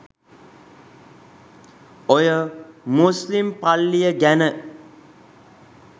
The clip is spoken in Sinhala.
ඔය මුස්ලිම් පල්ලිය ගැන